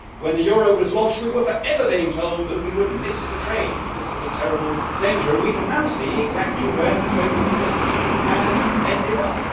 When the euro was launched we were forever being told that we would miss the train and that this was a terrible danger, and we can now see exactly where the train that we missed has ended up.